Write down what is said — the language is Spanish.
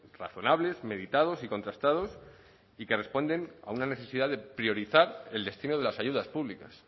razonables meditados y contrastados y que responden a una necesidad de priorizar el destino de las ayudas públicas